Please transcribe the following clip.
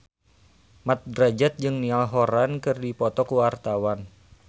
Mat Drajat jeung Niall Horran keur dipoto ku wartawan